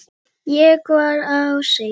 var á seyði.